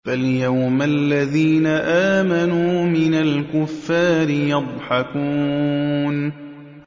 فَالْيَوْمَ الَّذِينَ آمَنُوا مِنَ الْكُفَّارِ يَضْحَكُونَ